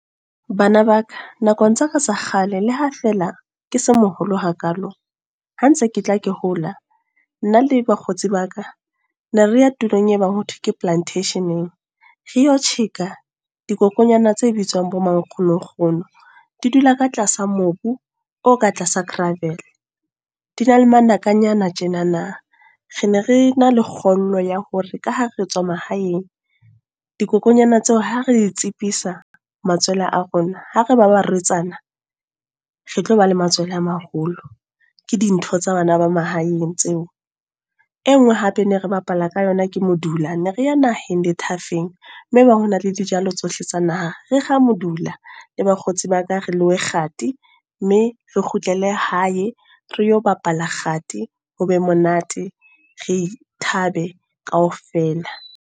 Bana ba ka, nakong tsa ka tsa kgale le ha feela ke se moholo hakalo. Ha ntse ke tla ke hola, nna le bakgotsi ba ka. Ne re ya tulong e bang ho thwe ka Plantation-eng. Re yo tjheka, dikokonyana tse bitswang bo mankgonokgono. Di dula ka tlasa mobu, o ka tlasa gravel. Di na le manakanyana tjenana. Ne re na le kgollo ya hore ka ha re tswa mahaeng. Dikokonyana tseo, ha re tsipisa matswele a rona, ha re ba barwetsana, re tlo ba le matswele a maholo. Ke dintho tsa bana ba mahaeng tseo. E nngwe hape ne re bapala ka yona, ke modula. Ne re ya naheng methafeng, moo e ba honale dijalo tsohle tsa naha. Re kga modula le bakgotsi ba ka re lowe kgati. Mme re kgutlele hae re yo bapala kgathi, hobe monate re thabe kaofela.